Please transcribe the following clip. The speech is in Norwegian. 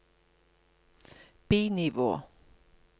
bi-nivå